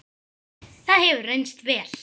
Það hefur reynst vel.